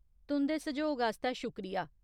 तुं'दे सैह्‌योग आस्तै शुक्रिया।